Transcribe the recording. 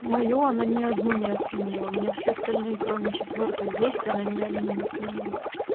моё она ни одну не оценила у меня все остальные кроме четвёртой есть она ни одно не оценила